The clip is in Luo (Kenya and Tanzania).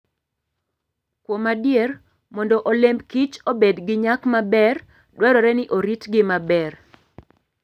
Kuom adier, mondo olemb kich obed gi nyak maber, dwarore ni oritgi maber.